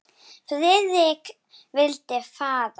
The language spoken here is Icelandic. Friðrik vildi fara.